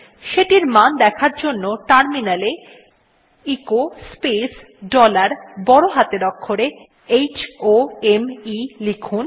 সেটির মান দেখার জন্য টার্মিনালে এ এচো স্পেস ডলার বড় হাতের অক্ষরে h o m ই লিখুন